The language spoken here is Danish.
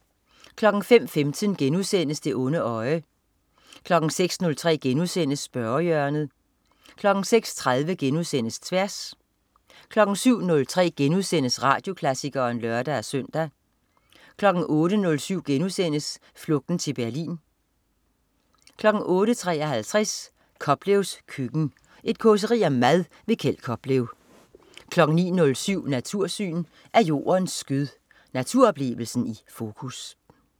05.15 Det onde øje* 06.03 Spørgehjørnet* 06.30 Tværs* 07.03 Radioklassikeren* (lør-søn) 08.07 Flugten til Berlin* 08.53 Koplevs køkken. Et causeri om mad. Kjeld Koplev 09.07 Natursyn. Af jordens skød. Naturoplevelsen i fokus